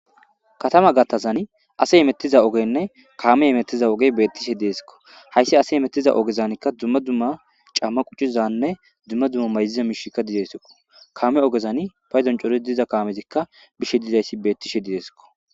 Katana gattasazine asey imetiza ogeyne kamey imetiza ogey bettishe desko haysi asey imetiza ogeyka dumma dumma cama quccizanne dumma dumma mayiza mishayka dizaysako kame ogezani paydon coriy diza kamezika bishe dizaysa betishe desko